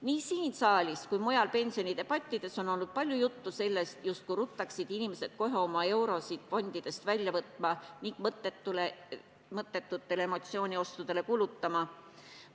Nii siin saalis kui ka mujal pensionidebattides on olnud palju juttu, justkui ruttaksid inimesed kohe oma eurosid fondidest välja võtma ning mõttetutele emotsiooniostudele kulutama.